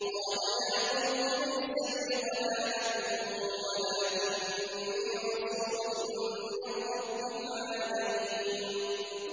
قَالَ يَا قَوْمِ لَيْسَ بِي ضَلَالَةٌ وَلَٰكِنِّي رَسُولٌ مِّن رَّبِّ الْعَالَمِينَ